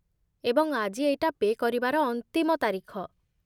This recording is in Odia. ଏବଂ ଆଜି ଏଇଟା ପେ' କରିବାର ଅନ୍ତିମ ତାରିଖ